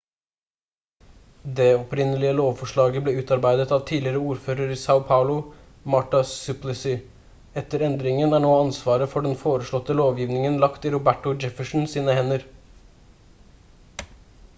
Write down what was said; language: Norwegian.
det opprinnelige lovforslaget ble utarbeidet av tidligere ordfører i são paulo marta suplicy. etter endringen er nå ansvaret for den foreslåtte lovgivningen lagt i roberto jefferson sine hender